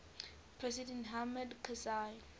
president hamid karzai